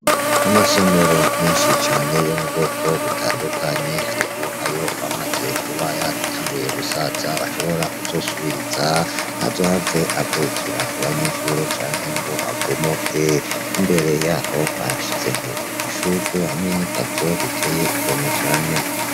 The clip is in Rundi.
Amasomero menshi cane yo mu bwoko butandukanye hariho ayoba amaze kuba yatanguye gusaza boshobora kuzosubiriza ntazohave agurukira ku banyeshure canke ngo abomoke ,imbere yaho barashizeho amashurwe hamwe n' igazo biteye igomwe cane.